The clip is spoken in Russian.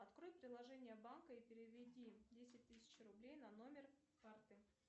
открой приложение банка и переведи десять тысяч рублей на номер карты